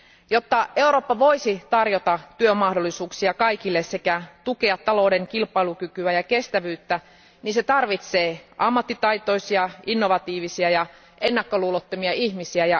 Jotta Eurooppa voisi tarjota työmahdollisuuksia kaikille sekä tukea talouden kilpailukykyä ja kestävyyttä, se tarvitsee ammattitaitoisia, innovatiivisia ja ennakkoluulottomia ihmisiä.